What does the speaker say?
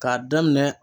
K'a daminɛ